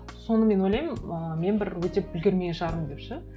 соны мен ойлаймын ыыы мен бір өтеп үлгермеген шығармын деп ше